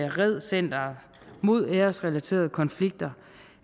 red center mod æresrelaterede konflikter